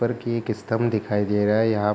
ऊपर की एक स्तंभ दिखाई दे रहा है यहाँ।